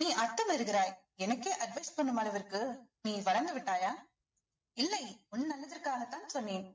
நீ அத்துமீறுகிறாய் எனக்கே advice பண்ணும் அளவிற்கு நீ வளந்து விட்டாயா இல்லை உன் நல்லதுக்காகத்தான் சொன்னேன்